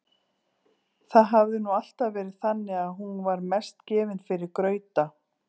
Það hafði nú alltaf verið þannig að hún var mest gefin fyrir grauta.